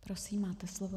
Prosím, máte slovo.